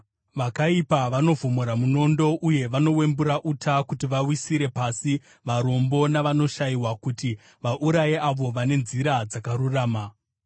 Vakaipa vanovhomora munondo uye vanowembura uta kuti vawisire pasi varombo navanoshayiwa, kuti vauraye avo vane nzira dzakarurama.